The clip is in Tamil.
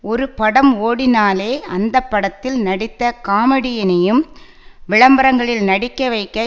ஒரு படம் ஓடினாலே அந்த படத்தில் நடித்த காமெடியனையும் விளம்பரங்களில் நடிக்க வைக்க